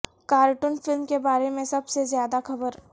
cartoon film کے بارے میں سب سے زیادہ خبر